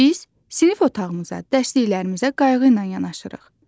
Biz sinif otağımıza, dərsliklərimizə qayğı ilə yanaşırıq.